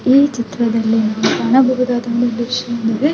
ಈ ಚಿತ್ರದಲ್ಲಿ ನಾವು ಕಾಣಬಹುದಾದ ಒಂದು ವಿಷಯ ಏನೆಂದರೆ --